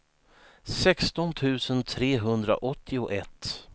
sexton tusen trehundraåttioett